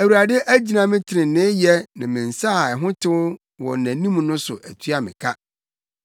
Awurade agyina me treneeyɛ ne me nsa a ho tew wɔ nʼanim no so atua me ka.